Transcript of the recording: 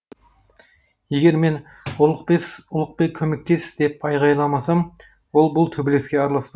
егер мен ұлықбек көмектес деп айғайламасам ол бұл төбелеске араласпай